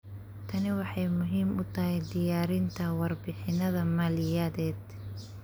Tani waxay muhiim u tahay diyaarinta warbixinnada maaliyadeed.